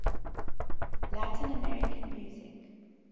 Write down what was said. latin american music